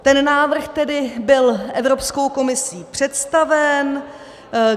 Ten návrh tedy byl Evropskou komisí představen.